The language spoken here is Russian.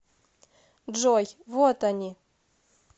джой вот они